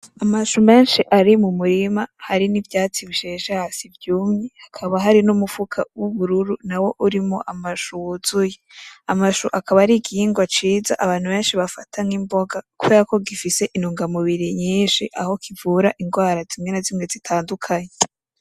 Amashu menshi ari mu murima hari nivyats bisheshe hasi vyumye, hakaba hari n'umufuka wubururu nawo urimwo amashu wuzuye ,amashu akaba ari igihingwa ciza abantu bafata nk'imboga kuberako gifise intungamubiri nyinshi aho kivura ingwara zimwe na zimwe zitandukanye.